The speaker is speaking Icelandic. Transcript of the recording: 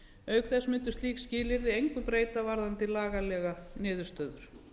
auk þess myndu slík skilyrði engu breyta varðandi lagalegar niðurstöður